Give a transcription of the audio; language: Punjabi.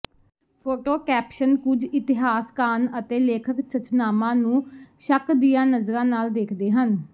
ਫੋਟੋ ਕੈਪਸ਼ਨ ਕੁਝ ਇਤਿਹਾਸਕਾਨ ਅਤੇ ਲੇਖਕ ਚਚਨਾਮਾ ਨੂੰ ਸ਼ੱਕ ਦੀਆਂ ਨਜ਼ਰਾਂ ਨਾਲ ਦੇਖਦੇ ਹਨ